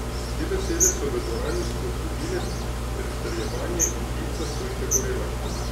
Te besede so v dvorani spodbudile pritrjevanje in lica so ji zagorela.